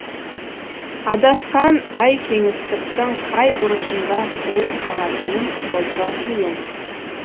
адасқан ай кеңістіктің қай бұрышында діріл қағатынын болжау қиын